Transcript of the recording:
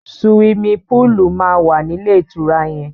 Suwimi púùlù máa wà nílé ìtura yẹn.